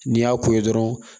N'i y'a ko ye dɔrɔn